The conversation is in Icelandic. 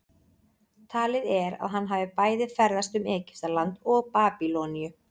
talið er að hann hafi bæði ferðast um egyptaland og babýloníu